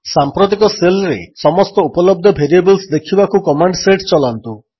ସାଂପ୍ରତିକ ଶେଲ୍ରେ ସମସ୍ତ ଉପଲବ୍ଧ ଭେରିଏବଲ୍ସ ଦେଖିବାକୁ କମାଣ୍ଡ୍ ସେଟ୍ ଚଲାନ୍ତୁ